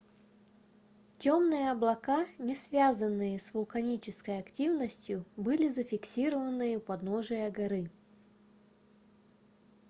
темные облака не связанные с вулканической активностью были зафиксированы у подножия горы